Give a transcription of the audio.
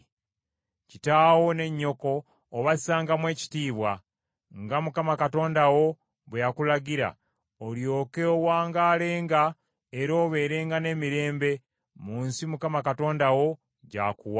Kitaawo ne nnyoko obassangamu ekitiibwa, nga Mukama Katonda wo bwe yakulagira, olyoke owangaale, era obeerenga n’emirembe, mu nsi Mukama Katonda wo gy’akuwa.